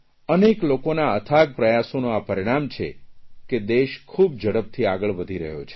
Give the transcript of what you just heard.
અનેક લોકોના અથાગ પ્રયાસોનું આ પરિણામ છે કે દેશ ખૂબ ઝડપથી આગળ વધી રહ્યો છે